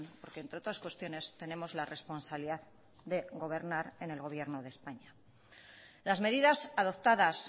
porque entre otras cuestiones tenemos la responsabilidad de gobernar en el gobierno de españa las medidas adoptadas